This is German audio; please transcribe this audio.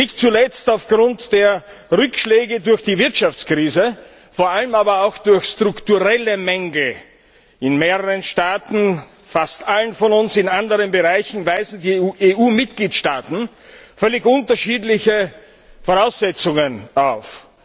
Nicht zuletzt aufgrund der Rückschläge durch die Wirtschaftskrise, vor allem aber auch durch strukturelle Mängel in mehreren Staaten fast allen von uns in anderen Bereichen weisen die EU Mitgliedstaaten völlig unterschiedliche Voraussetzungen auf.